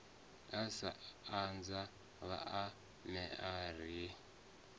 u sa anza vhaanewa ri